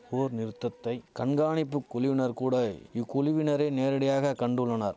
போர் நிறுத்தத்தை கண்காணிப்பு குழுவினர் கூட இக்குழுவினரை நேரடியாக கண்டுள்ளனர்